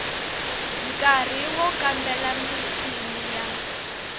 nkari wo kambela michini ya